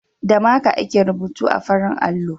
Da maka ake rubutu a farin allo.